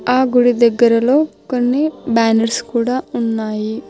ఆ గుడి దగ్గరలో కొన్ని బ్యానర్స్ కూడా ఉన్నాయి.